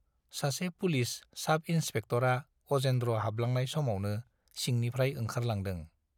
सासे पुलिस साब इन्सपेक्टरआ अजेन्द्र हाबलांनाय समावनो सिंनिफ्राय ओंखारलांदों।